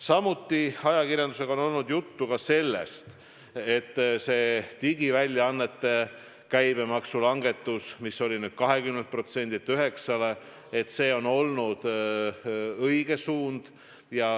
Samuti on ajakirjandusega olnud juttu sellest, et digiväljaannete käibemaksulangetus 20%-lt 9%-le on olnud õige suund.